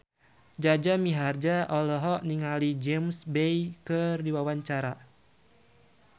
Jaja Mihardja olohok ningali James Bay keur diwawancara